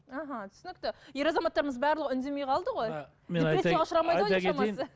аха түсінікті ер азаматтарымыз барлығы үндемей қалды ғой